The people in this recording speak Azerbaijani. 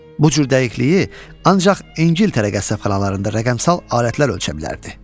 Bu cür dəqiqliyi ancaq İngiltərə qəssabxanalarında rəqəmsal alətlər ölçə bilərdi.